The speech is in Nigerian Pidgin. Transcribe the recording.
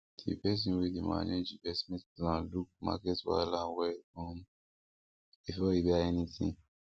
the person wey dey manage investment plan look market wahala well um before e buy anything